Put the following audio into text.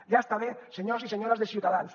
ja està bé senyors i senyores de ciutadans